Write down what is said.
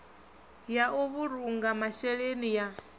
ya u vhulunga masheleni ya